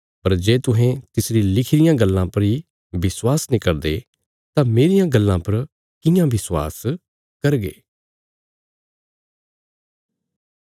पर जे तुसें तिसरी लिखी रियां गल्लां पर इ विश्वास नीं करदे तां मेरियां गल्लां पर कियां विश्वास करगे